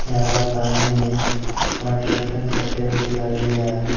यहां पर सामने कंस्ट्रक्शन चलते हुए दिखाई दे रहा है।